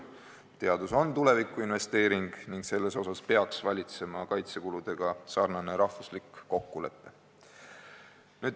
Teadus on tulevikuinvesteering ning selles peaks valitsema kaitsekuludega sarnane rahvuslik kokkulepe.